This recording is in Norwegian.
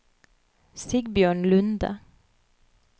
Sigbjørn Lunde